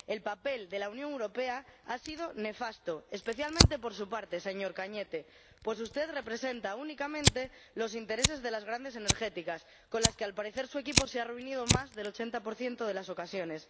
El papel de la Unión Europea ha sido nefasto, especialmente por su parte, señor Cañete, pues usted representa únicamente los intereses de las grandes empresas energéticas, con las que, al parecer, su equipo se ha reunido en más del 80 de las ocasiones.